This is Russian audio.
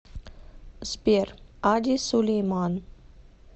сбер ади сулейман